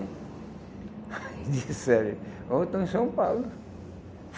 Aí disseram, ó, estão em São Paulo.